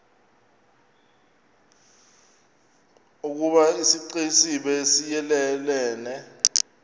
ukoba isixesibe siyelelene